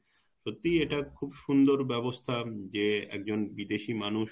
সত্যি একটা খুব সুন্দর ব্যবস্থা যে একজন বিদেশী মানুষ